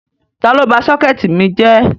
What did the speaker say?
Tàlọ bá sọkẹtì mi jẹ́?